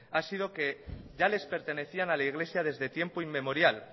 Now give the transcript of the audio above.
ha sido que ya les pertenecían a la iglesia desde tiempo inmemorial